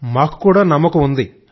మాకు కూడా నమ్మకముంది